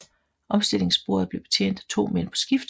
Omstillingsbordet blev betjent af to mænd på skift